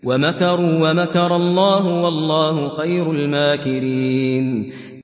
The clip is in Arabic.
وَمَكَرُوا وَمَكَرَ اللَّهُ ۖ وَاللَّهُ خَيْرُ الْمَاكِرِينَ